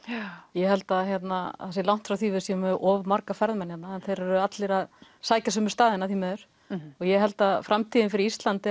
ég held að það sé langt frá því að við séum með of marga ferðamenn hérna þeir eru allir að sækja sömu staðina því miður og ég held að framtíðin fyrir Ísland